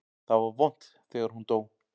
Það var vont þegar hún dó.